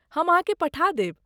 हम अहाँकेँ पठा देब।